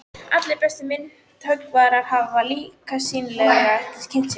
Allir bestu myndhöggvarar hafa líka sýnilega kynnt sér hana.